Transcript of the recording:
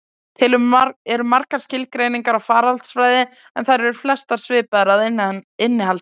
Til eru margar skilgreiningar á faraldsfræði, en þær eru flestar svipaðar að innihaldi.